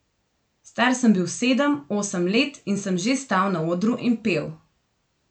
Star sem bil sedem, osem let in sem že stal na odru in pel.